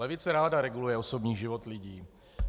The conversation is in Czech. Levice ráda reguluje osobní život lidí.